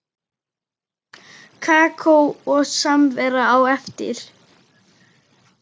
Kakó og samvera á eftir.